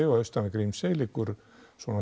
og austan við Grímsey liggur svona